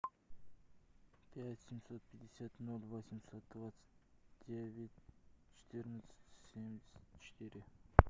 пять семьсот пятьдесят ноль восемьсот двадцать девять четырнадцать семьдесят четыре